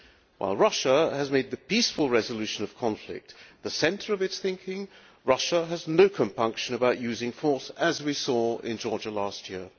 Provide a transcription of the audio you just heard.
While the EU has made the peaceful resolution of conflict the centre of its thinking, Russia has no compunction about using force, as we saw in Georgia last year.